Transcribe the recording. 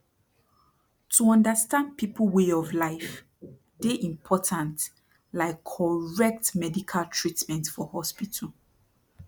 to understand people way of life dey important like correct medical treatment for hospital